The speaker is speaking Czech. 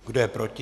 Kdo je proti?